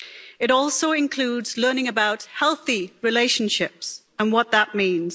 It also includes learning about healthy relationships and what that means.